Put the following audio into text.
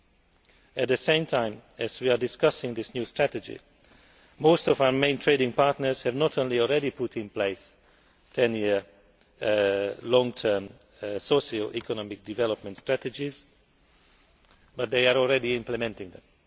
While we are discussing this new strategy, most of our main trading partners have not only already put in place 10 year long term social economic development strategies but they are already implementing them.